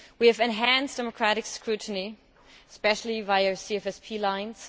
We have enhanced democratic scrutiny, especially on CFSP lines.